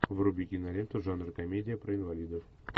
вруби киноленту жанр комедия про инвалидов